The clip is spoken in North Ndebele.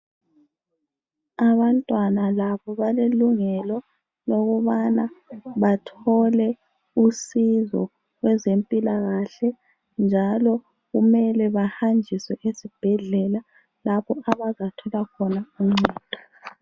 Abantwana labo balelungelo lokubana bathole usizo kwezempilakahle njalo kumele bahanjiswe esibhedlela lapho abazathola khona uncedo.